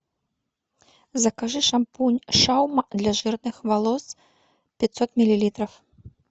закажи шампунь шаума для жирных волос пятьсот миллилитров